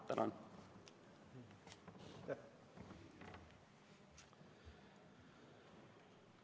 Tänan!